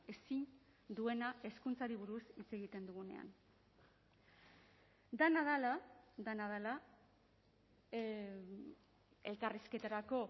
ezin duena hezkuntzari buruz hitz egiten dugunean dena dela dena dela elkarrizketarako